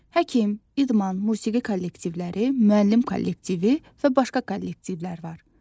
Həkim, idman, musiqi kollektivləri, müəllim kollektivi və başqa kollektivlər var.